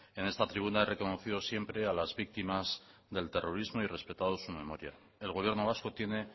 en esta tribuna he reconocido siempre a las víctimas del terrorismo y he respetado su memoria el gobierno vasco tiene